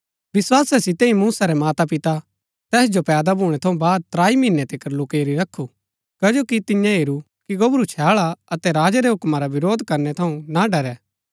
विस्‍वासा सितै ही मूसा रै मातापिता तैस जो पैदा भूणै थऊँ बाद त्राई महीनै तिकर लुकैरी रखू कजो कि तिऐं हेरू कि गोबरू छैळ हा अतै राजा रै हुक्म रा विरोध करनै थऊँ ना डरै